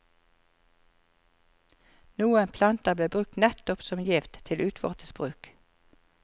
Noen planter ble brukt nettopp som gift, til utvortes bruk.